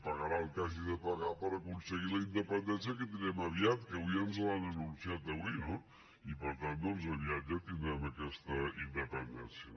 pagarà el que hagi de pagar per aconseguir la independència que la tindrem aviat que avui ja ens l’han anunciat no i per tant aviat ja tindrem aquesta independència